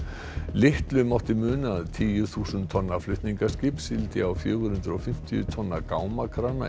litlu mátti muna að tíu þúsund tonna flutningaskip sigldi á fjögur hundruð og fimmtíu tonna